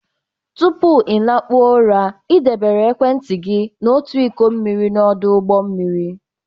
Tupu ị lakpuo ụra, ị debere ekwentị gị na otu iko mmiri n'ọdụ ụgbọ mmiri.